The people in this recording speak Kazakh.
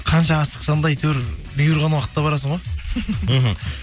қанша асықсаң да әйтеуір бұйырған уақытта барасың ғой мхм